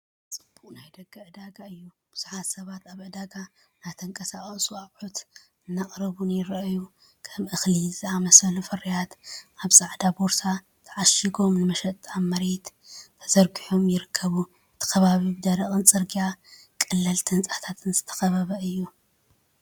ጽዑቕ ናይ ደገ ዕዳጋ እዩ። ብዙሓት ሰባት ኣብ ዕዳጋ እናተንቀሳቐሱን ኣቑሑት እናቕረቡን ይረኣዩ። ከም እኽሊ ዝኣመሰሉ ፍርያት፡ ኣብ ጻዕዳ ቦርሳ ተዓሺጎም፡ ንመሸጣ ኣብ መሬት ተሰሪዖም ይርከቡ። እቲ ከባቢ ብደረቕ ጽርግያን ቀለልቲ ህንጻታትን ዝተኸበበ እዩ።